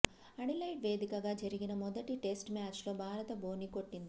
Adelaide వేదికగా జరిగిన మొదటి టెస్టు మ్యాచ్ లో భారత్ బోణి కొట్టింది